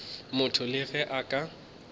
motho le ge a ka